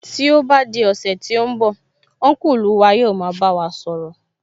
Tí ó bá di ọ̀sẹ̀ tí ó ń bọ̀, Ọ́nkùlù wa yóò máa bá wa sọ̀rọ̀